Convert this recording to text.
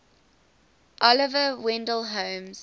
oliver wendell holmes